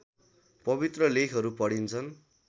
पवित्र लेखहरू पढिन्छन्